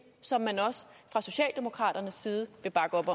som man også fra socialdemokraternes side vil bakke op